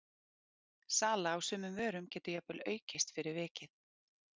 Sala á sumum vörum getur jafnvel aukist fyrir vikið.